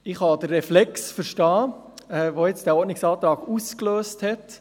Ich kann den Reflex verstehen, den dieser Ordnungsantrag ausgelöst hat.